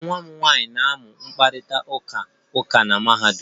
Nwa m nwanyị na-amụ mkparịta ụka uka na mahadum